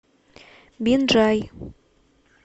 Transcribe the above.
бинджай